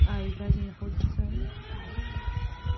а евразия находится